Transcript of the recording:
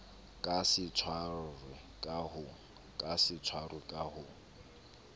ka se tshwarwe ka ho